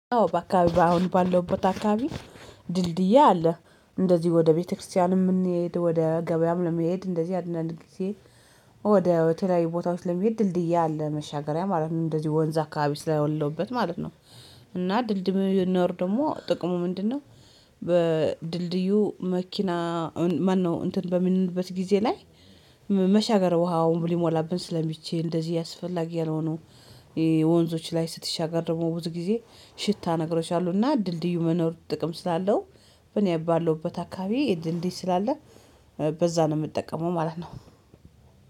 አዎ በአካባቢ በአሁን ባለውበት አካባቢ ድልድይ አለ እንደዚህ ወደ ቤተክርስቲያን የምንሄድ ወደ ገበያም ለመሄድ እንደዚህ አንዳንድ ጊዜ ወደ ተለያዩ ላይ ቦታዎች ለመሄድ ድልድይ አለ መሻገሪያ ማለት ነው እንደዚህ ወንዝ አካባቢ ስላ ለውበት ማለት ነው። እና ድልድይ መኖር ደግሞ ጥቅሙ ምንድነው? በድልድዩ መኪና ማነው እንትን በምንልበት ጊዜ ላይ መሻገር ውሃውን ሊሞላብን ስለሚችል እንደዚህ አስፈላጊ ያልሆኑ የወንዞች ላይ ስትሻገር ደግሞ ብዙ ጊዜ ሽታ ነግሮች አሉና እና ድልድዩ መኖር ጥቅም ስላለው። በኔ ባለሁበት አካባቢ ድልድይ ስላለ በዛ ነው የምጠቀመው ማለት ነው።